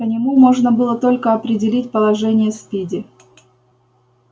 по нему можно было только определить положение спиди